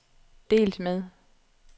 delt med